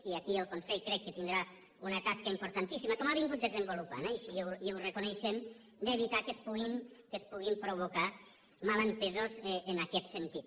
i aquí el consell crec que tindrà una tasca importantíssima com ha vingut desenvolupant eh i així ho reconeixem d’evitar que es puguin provocar malentesos en aquest sentit